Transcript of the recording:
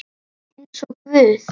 Eins og guð?